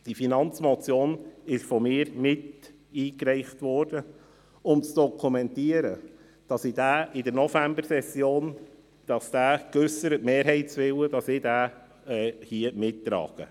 Ich habe die Finanzmotion miteingereicht, um zu dokumentieren, dass ich den in der Novembersession geäusserten Mehrheitswillen mittrage.